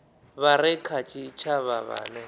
vha re kha tshitshavha vhane